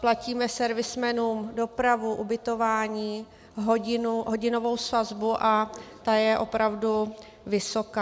Platíme servismanům dopravu, ubytování, hodinovou sazbu, a ta je opravdu vysoká.